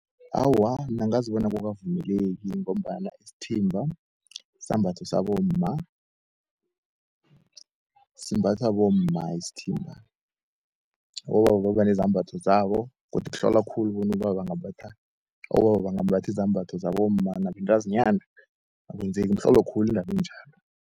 Awa bona akukavumeleki ngombana isithimba sisambatho sabomma, simbathwa bomma isithimba. Abobaba babanezambatho zabo, godu hlola khulu bona abobaba bangambatha izembatho zabo mma nabentazinyana, akwenzeki mhlolo khulu indabenjalo.